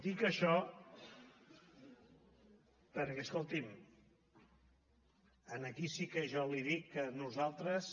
dic això perquè escolti’m aquí sí que jo li dic que nosaltres